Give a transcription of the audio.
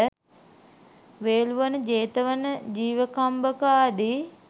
වේලුවන, ජේතවන, ජීවකම්බක ආදී